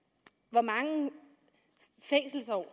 hvor mange fængselsår